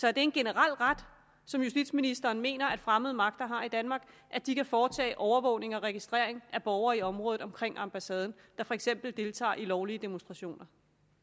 er det en generel ret som justitsministeren mener fremmede magter har i danmark at de kan foretage overvågning og registrering af borgere i området omkring ambassaden der for eksempel deltager i lovlige demonstrationer